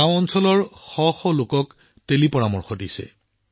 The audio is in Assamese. তেওঁ গ্ৰামাঞ্চলৰ শ শ লোকক টেলিপৰামৰ্শ প্ৰদান কৰিছে